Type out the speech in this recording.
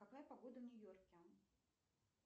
какая погода в нью йорке